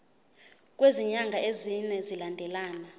kwezinyanga ezine zilandelana